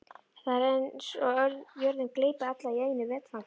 Það er eins og jörðin gleypi alla í einu vetfangi.